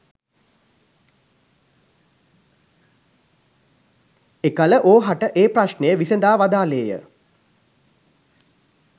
එකළ ඕහට ඒ ප්‍රශ්නය විසදා වදාළේ ය.